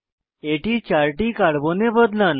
এটি 4 টি কার্বনে বদলান